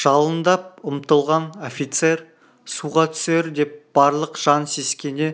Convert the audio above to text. жалындап ұмтылған офицер суға түсер деп барлық жан сескене